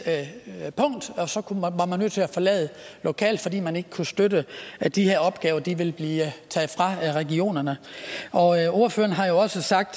at man så var nødt til at forlade lokalet fordi man ikke kunne støtte at de her opgaver ville blive taget fra regionerne og ordføreren har også sagt